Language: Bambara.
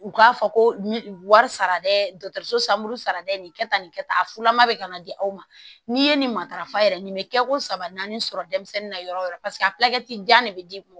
U k'a fɔ ko wari sara dɛ sanbulu sara dɛ nin kɛ tan nin kɛ tan a fulama be ka na di aw ma n'i ye nin matarafa yɛrɛ nin bɛ kɛ ko saba naani sɔrɔ denmisɛnnin na yɔrɔ yɔrɔ paseke a jan de be di